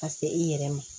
Ka se i yɛrɛ ma